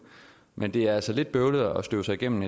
men det er altså lidt bøvlet at støve sig igennem